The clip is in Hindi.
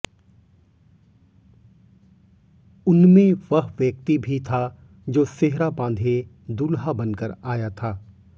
उनमें वह व्यक्ति भी था जो सेहरा बांधे दूल्हा बनकर आया था